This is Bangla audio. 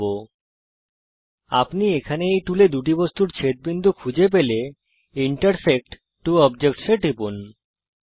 যদি এখন আপনি এখানে এই টুলে যান আপনি দুটি বস্তুর ছেদবিন্দু অর্থাত পয়েন্ট অফ ইন্টারসেক্সন খুজতে পারেন এবং ইন্টারসেক্ট ত্ব অবজেক্টস এ টিপুন